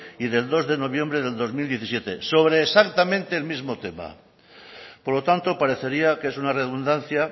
y del dos de noviembre del dos mil diecisiete sobre exactamente el mismo tema por lo tanto parecería que es una redundancia